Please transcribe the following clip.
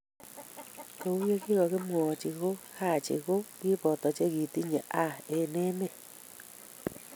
Ko u ye kikokimwoii ko Haji ko kiboto che kitinye A eng emet.